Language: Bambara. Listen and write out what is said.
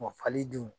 fali dun